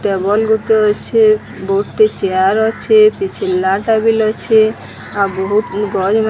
Table ଗୋଟେ ଅଛେ। ବୋହୁତ୍ ଟେ ଚେୟାର ଅଛେ। କିଛି ଲାଲ ଟା ବିଲ୍ ଅଛେ। ଆଉ ବୋହୁତ ଗଛ୍ ମା --